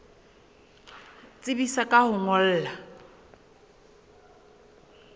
tsebisa ka ho o ngolla